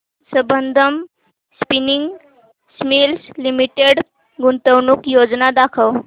Sambandam spinning mills limited गुंतवणूक योजना दाखव